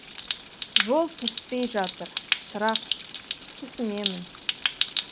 жол түспей жатыр шырақ түсінемін